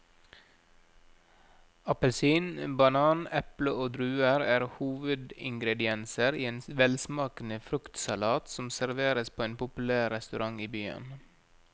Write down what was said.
Appelsin, banan, eple og druer er hovedingredienser i en velsmakende fruktsalat som serveres på en populær restaurant i byen.